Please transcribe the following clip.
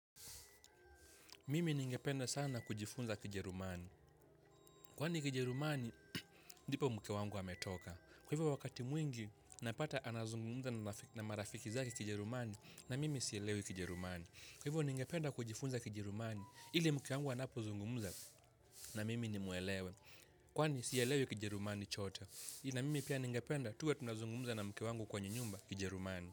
Mimi ningependa sana kujifunza kijerumani. Kwani kijerumani ndipo mke wangu ametoka. Kwa hivyo wakati mwingi napata anazungumza na marafiki zake kijerumani na mimi sielewi kijerumani. Kwa hivyo ningependa kujifunza kijerumani ili mke wangu anapo zungumuza na mimi nimuelewe kwani sielewi kijerumani chote. iIa mimi pia ningependa tuwe tunazungumza na mke wangu kwa nyumba kijerumani.